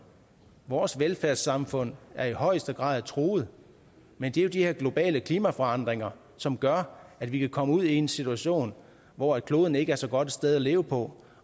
vores velfærdssamfund er i højeste grad truet men det er jo de her globale klimaforandringer som gør at vi kan komme ud i en situation hvor kloden ikke er så godt et sted at leve på